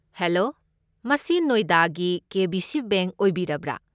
Hello, ꯃꯁꯤ ꯅꯣꯏꯗꯥꯒꯤ K. B. C. Bank ꯑꯣꯏꯕꯤꯔꯕ꯭ꯔꯥ?